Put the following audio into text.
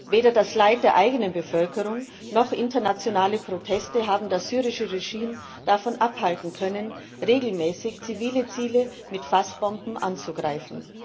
Weder das Leid der eigenen Bevölkerung noch internationale Proteste haben das syrische Regime davon abhalten können, regelmäßig zivile Ziele mit Fassbomben anzugreifen.